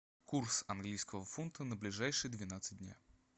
курс английского фунта на ближайшие двенадцать дня